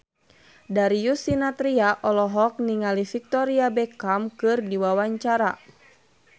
Darius Sinathrya olohok ningali Victoria Beckham keur diwawancara